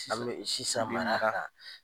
An be sisan mara bi mara kan